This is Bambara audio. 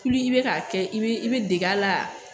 i bɛ ka kɛ i bɛ i bɛ deg'a la.